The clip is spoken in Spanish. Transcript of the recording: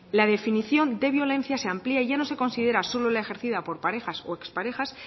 la definición de violencia se amplía ya no se considera solo la ejercida por parejas o exparejas